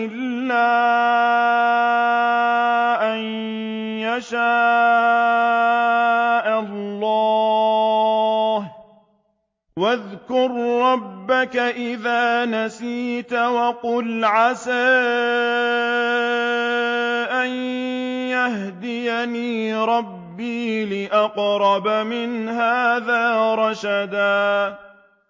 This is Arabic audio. إِلَّا أَن يَشَاءَ اللَّهُ ۚ وَاذْكُر رَّبَّكَ إِذَا نَسِيتَ وَقُلْ عَسَىٰ أَن يَهْدِيَنِ رَبِّي لِأَقْرَبَ مِنْ هَٰذَا رَشَدًا